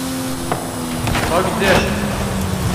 пакдешт